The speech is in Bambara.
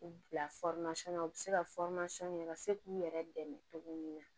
U bila fɔrimasɔn na u bɛ se ka u ka se k'u yɛrɛ dɛmɛ cogo min na